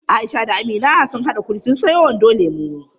Aisha da Amina sun haɗa kuɗi sun sayo wando lemo.